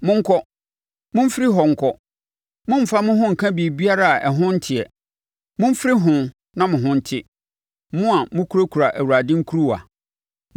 Monkɔ. Momfiri hɔ nkɔ! Mommfa mo ho nka biribiara a ɛho nteɛ. Mommfiri ho na mo ho nte, mo a mokurakura Awurade nkuruwa.